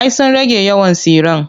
Ay sun rage yawan tsiren.